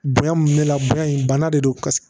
Bonya mun bɛ la bonya in bana de don